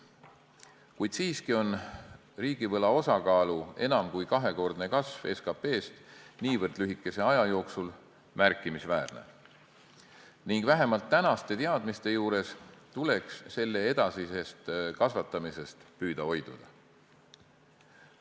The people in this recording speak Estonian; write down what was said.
Kuid siiski on see, et riigivõla osakaal SKP-s on enam kui kahekordselt kasvanud niivõrd lühikese aja jooksul, märkimisväärne ning vähemalt tänaste teadmiste juures tuleks selle edasisest kasvatamisest püüda hoiduda.